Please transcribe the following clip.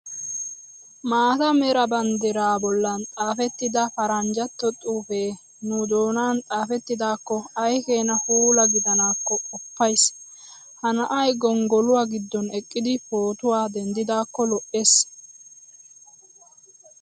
Maata mera banddiraa bollan xaafettida paranjjatto xuufee nu doonan xaafettidaakko ayikeena puula gidanaakko qoppayis. Ha na'ayi gonggoluwaa giddon eqqidi footuwaa denddidaakko lo'es.